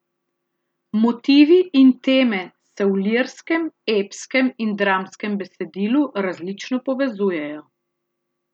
Motivi in teme se v lirskem, epskem in dramskem besedilu različno povezujejo.